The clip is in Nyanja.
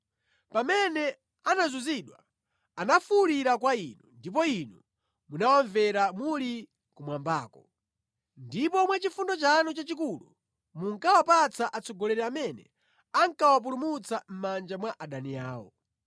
Pamene anazunzidwa anafuwulira kwa Inu, ndipo Inu munawamvera muli kumwambako. Ndipo mwa chifundo chanu chachikulu munkawapatsa atsogoleri amene ankawapulumutsa mʼmanja mwa adani awo.”